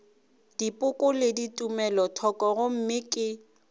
dipoko le tumelothoko gomme ke